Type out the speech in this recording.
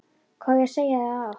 Hvað á ég að segja það oft?!